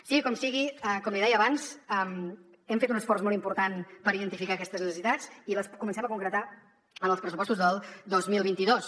sigui com sigui com li deia abans hem fet un esforç molt important per identificar aquestes necessitats i les comencem a concretar en els pressupostos del dos mil vint dos